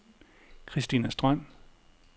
Christina Strøm